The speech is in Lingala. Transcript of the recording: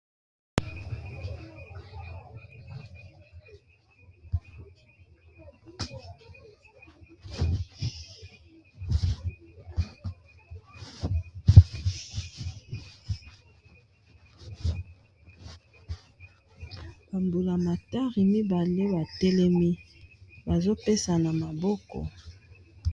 Bambulamatari mibale batelemi bazo pesana maboko.